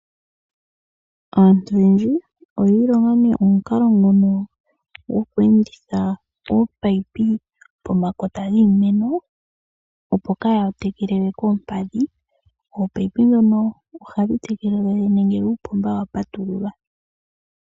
Aantu oyendji oyiilonga omukalo ngono gwokweenditha ominino pomakota giimeno, opo kaa ya tekele we koompadhi. Ominino dhoka ohadhi tekele uuna uupomba wa patululwa.